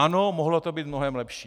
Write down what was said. Ano, mohlo to být mnohem lepší.